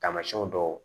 Tamasiyɛnw dɔw